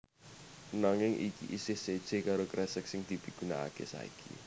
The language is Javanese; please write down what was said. Nanging iki isih séjé karo kresek sing dipigunakaké saiki